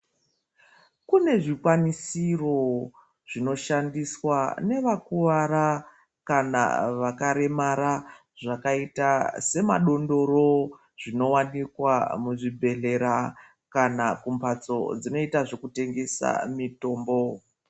Kune zvikwanisiro nevakuwara kana vakaremara zvakaita semadondoro zvinowanikwa muzvibhehlera kana kumbatso dzinoita zvekutengesa mitombo.